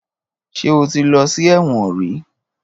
Ṣé o ti lọ́ sí ẹ̀wọ̀n rìí?